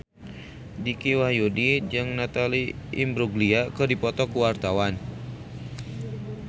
Dicky Wahyudi jeung Natalie Imbruglia keur dipoto ku wartawan